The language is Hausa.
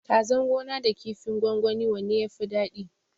Kazan gona da kifin gwangwani wanne yafi dadi?